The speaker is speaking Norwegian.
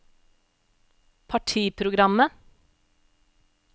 partiprogrammet